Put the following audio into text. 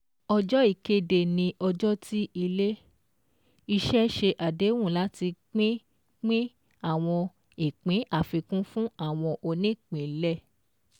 Ọjọ́ ìkéde ni ọjọ́ tí ilé-iṣẹ́ ṣe àdéhùn láti pínpín àwọn ìpín àfikún fún àwọn onípínlẹ̀.